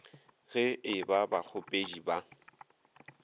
ge e ba bakgopedi ba